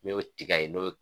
N y'o tigɛ yen n y'o